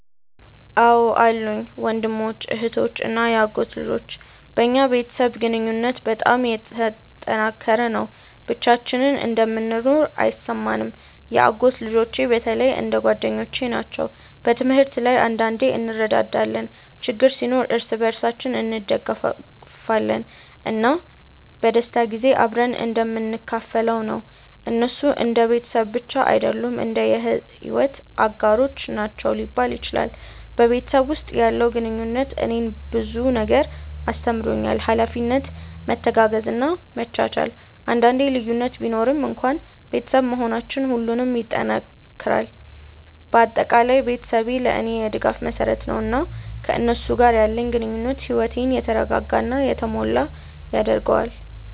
አዎን አሉኝ፤ ወንድሞች፣ እህቶች እና የአጎት ልጆች። በእኛ ቤተሰብ ግንኙነት በጣም የተጠናከረ ነው፣ ብቻችንን እንደምንኖር አይሰማንም። የአጎት ልጆቼ በተለይ እንደ ጓደኞቼ ናቸው። በትምህርት ላይ አንዳንዴ እንረዳዳለን፣ ችግር ሲኖር እርስ በርሳችን እንደግፋለን፣ እና በደስታ ጊዜ አብረን እንደምንካፈል ነው። እነሱ እንደ ቤተሰብ ብቻ አይደሉም፣ እንደ የሕይወት አጋሮች ናቸው ሊባል ይችላል። በቤተሰብ ውስጥ ያለው ግንኙነት እኔን ብዙ ነገር አስተምሮኛል፤ ኃላፊነት፣ መተጋገዝ እና መቻቻል። አንዳንዴ ልዩነት ቢኖርም እንኳን ቤተሰብ መሆናችን ሁሉንም ይጠናክራል። በአጠቃላይ ቤተሰቤ ለእኔ የድጋፍ መሰረት ነው፣ እና ከእነሱ ጋር ያለኝ ግንኙነት ሕይወቴን የተረጋጋ እና የተሞላ ያደርገዋል።